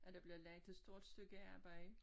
At der bliver lagt et stort stykke arbejde